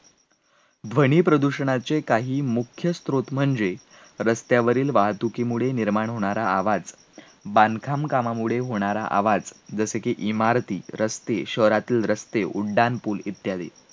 ध्वनी प्रदूषणाचे काही मुख्य स्त्रोत म्हणजे रस्त्यावरील वाहतुकीमुळे निर्माण होणारा आवाज, बांधकाम कामामुळे होणारा आवाज जसे की इमारती, रस्ते, शहरातील रस्ते, उड्डाणपूल, इत्यादी.